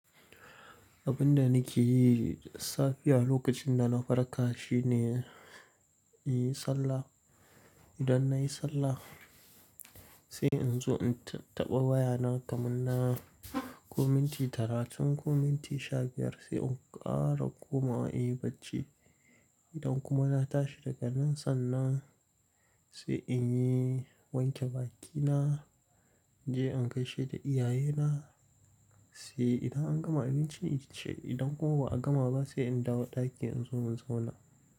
Abin da nake yi safiya lokacin da na farka shine in yi sallah. Idan na yi sallah, sai in zo in taɓa wayana kamar na kuminti talatin ko minti sha biyar sai in ƙara komawa in yi bacci. Idan kuma na tashi daga nan sannan sai in yi wanke bakina, je in gaishe da iyayena. Sai idan an gama abinci, idan kuma ba a gama ba sai in dawo ɗaki in zo in zauna.